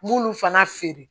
N b'olu fana feere